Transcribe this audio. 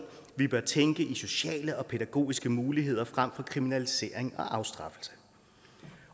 vi bør tænke i sociale og pædagogiske muligheder frem for kriminalisering og afstraffelse